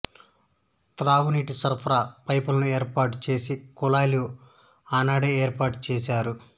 త్రాగునీటి సరఫరా పైపులైను ఏర్పాటు చేసి కుళాయిలు ఆనాడే ఏర్పాటు చేసారు